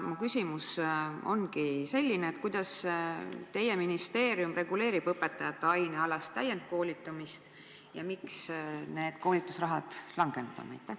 Mu küsimus ongi selline: kuidas teie ministeerium reguleerib õpetajate ainealast enesetäiendamist ja miks on koolitusraha vähenenud?